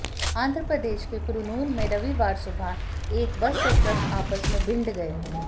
आंध्र प्रदेश के कुरनूल में रविवार सुबह एक बस और ट्रक आपस में भिंड गए